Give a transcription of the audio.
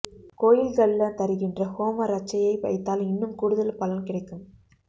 கோயில்கள்ல தருகின்ற ஹோம ரட்சையை வைத்தால் இன்னும் கூடுதல் பலன் கிடைக்கும்